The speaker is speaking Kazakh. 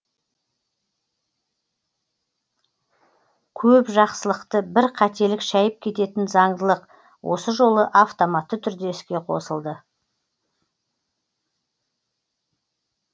көп жақсылықты бір қателік шәйіп кететін заңдылық осы жолы автоматты түрде іске қосылды